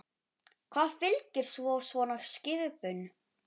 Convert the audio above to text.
Hvað fylgir svo svona skipum?